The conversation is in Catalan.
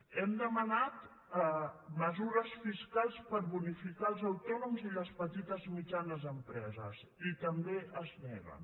hem demanat mesures fiscals per bonificar els autònoms i les petites i mitjanes empreses i també s’hi neguen